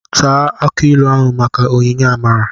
Taa akị ilu maka onyinye amara.